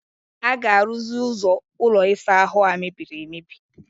A ga-arụzi ụzọ ụlọ ịsa ahụ a mebiri emebi?